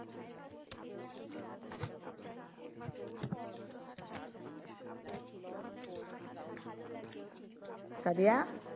Sadia